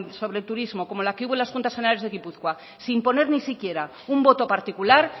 sobre el turismo como la que hubo en las juntas generales de gipuzkoa sin poner ni siquiera un voto particular